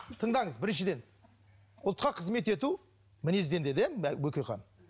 тыңдаңыз біріншіден ұлтқа қызмет ету мінезден деді иә бөкейхан